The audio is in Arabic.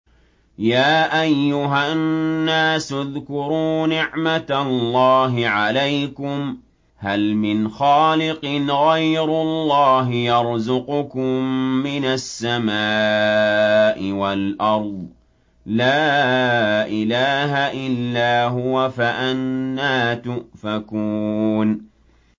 يَا أَيُّهَا النَّاسُ اذْكُرُوا نِعْمَتَ اللَّهِ عَلَيْكُمْ ۚ هَلْ مِنْ خَالِقٍ غَيْرُ اللَّهِ يَرْزُقُكُم مِّنَ السَّمَاءِ وَالْأَرْضِ ۚ لَا إِلَٰهَ إِلَّا هُوَ ۖ فَأَنَّىٰ تُؤْفَكُونَ